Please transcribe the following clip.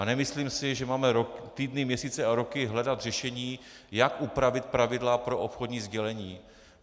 A nemyslím si, že máme týdny, měsíce a roky hledat řešení, jak upravit pravidla pro obchodní sdělení.